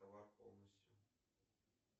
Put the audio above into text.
товар полностью